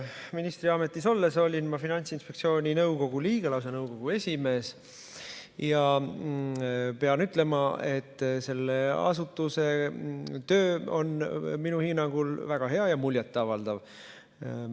Ministriametis olles olin ma Finantsinspektsiooni nõukogu liige, lausa nõukogu esimees, ja pean ütlema, et selle asutuse töö on minu hinnangul väga hea ja muljet avaldav.